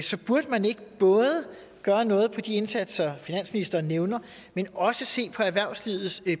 så burde man ikke både gøre noget på de indsatser finansministeren nævner men også se på erhvervslivets